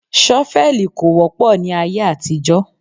Ṣọ́fẹ̀lì kò wọ́pọ̀ ní ayé àtijọ́